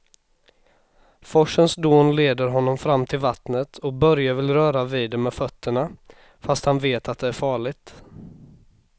Forsens dån leder honom fram till vattnet och Börje vill röra vid det med fötterna, fast han vet att det är farligt.